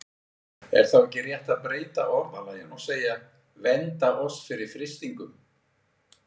Er þá ekki rétt að breyta orðalaginu og segja: Vernda oss fyrir freistingum?